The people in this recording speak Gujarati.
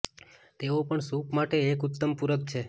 તેઓ પણ સૂપ માટે એક ઉત્તમ પૂરક છે